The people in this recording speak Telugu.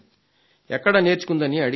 ఎక్కడ నేర్చుకుందని అడిగాను